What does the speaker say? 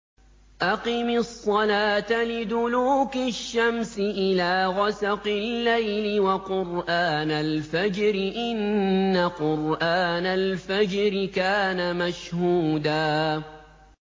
أَقِمِ الصَّلَاةَ لِدُلُوكِ الشَّمْسِ إِلَىٰ غَسَقِ اللَّيْلِ وَقُرْآنَ الْفَجْرِ ۖ إِنَّ قُرْآنَ الْفَجْرِ كَانَ مَشْهُودًا